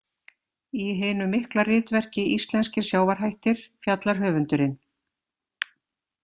Í hinu mikla ritverki Íslenskir sjávarhættir fjallar höfundurinn.